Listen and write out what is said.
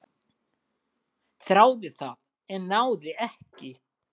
"""Þráði það, en náði ekki."""